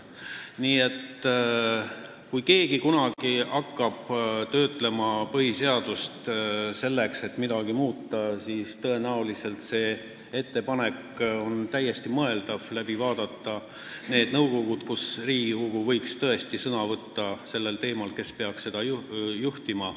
Nii et kui keegi hakkab kunagi töötlema põhiseadust, selleks et midagi muuta, siis on see ettepanek täiesti mõeldav – vaadata läbi need nõukogud, mille puhul võiks Riigikogu tõesti sõna võtta sellel teemal, kes peaks neid juhtima.